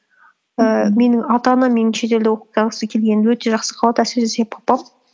ііі менің ата анам менің шетелде келгенімді өте жақсы қабылдады әсіресе папам